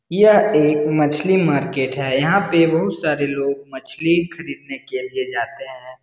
यह एक मछली मार्केट है यहाँ पे बहुत सारे लोग मछली खरीदने के लिए जाते हैं ।